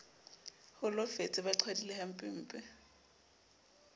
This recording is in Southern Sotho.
holofetse ba qhwadile hampempe e